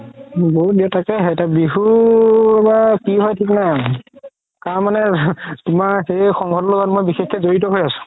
বিহু এইবাৰ কি হয় থিক নাই তাৰ মানে তুমাৰ সেই সংঘতোৰ লগত মই বিশেষকে জৰিত হয় আছো